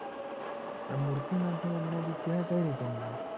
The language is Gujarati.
પણ મુર્તિ મા થી અમને વિધ્ય કઈ રીતે મળે